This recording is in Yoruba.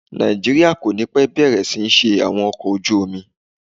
Nàìjíríà kò ní pẹ́ bẹ̀rẹ̀ sí ní ṣe àwọn ọkọ̀ ojú omi.